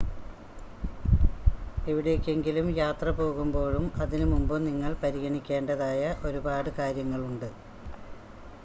എവിടേയ്ക്കെങ്കിലും യാത്ര പോകുമ്പോഴും അതിനുമുമ്പും നിങ്ങൾ പരിഗണിക്കേണ്ടതായ ഒരുപാട് കാര്യങ്ങളുണ്ട്